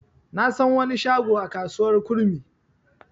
Na san wani shago a kasuwar kurmi.